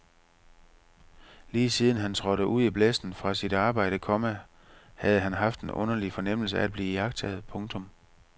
Lige siden han trådte ud i blæsten fra sit arbejde, komma havde han haft en underlig fornemmelse af at blive iagttaget. punktum